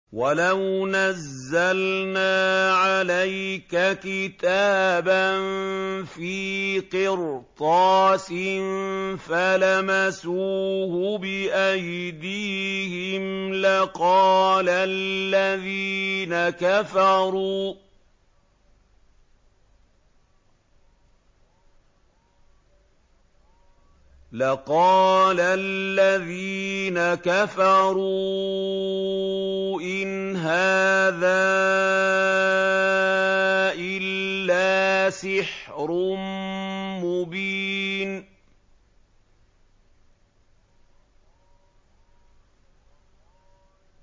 وَلَوْ نَزَّلْنَا عَلَيْكَ كِتَابًا فِي قِرْطَاسٍ فَلَمَسُوهُ بِأَيْدِيهِمْ لَقَالَ الَّذِينَ كَفَرُوا إِنْ هَٰذَا إِلَّا سِحْرٌ مُّبِينٌ